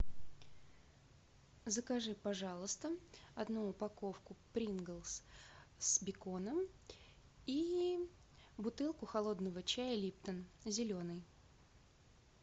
закажи пожалуйста одну упаковку принглс с беконом и бутылку холодного чая липтон зеленый